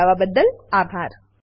જોડાવાબદ્દલ આભાર